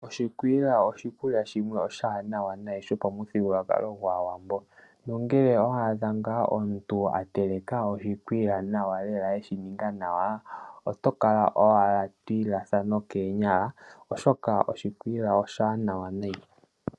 Oshikwiila, oshikwiila shimwe oshiwanawa nayi shopamuthigululwakalo gwaawambo na ngele owa adha nga omuntu ateleka oshikwiila nawa lela eshininga nawa, oto kala owala to ilatha nokeenyala oshoka oshikwiila oshiwanawa nayi.